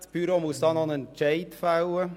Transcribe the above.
Das Büro muss dazu noch einen Entscheid fällen.